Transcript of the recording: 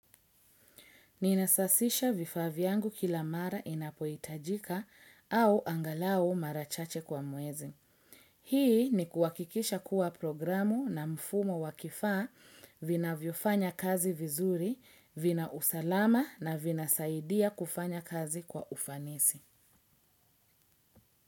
Ninasasisha vifaa vyangu kila mara inapoitajika au angalao mara chache kwa mwezi. Hii ni kuhakikisha kuwa programu na mfumo wa kifaa vinavyofanya kazi vizuri, vina usalama na vinasaidia kufanya kazi kwa ufanisi.